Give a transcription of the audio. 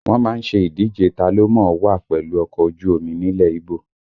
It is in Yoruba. Wọ́n má ń ṣe ìdíje ta ló mọ̀ ọ́ wà pẹ̀lú ọkọ̀ ojú omi nílẹ̀ Íbò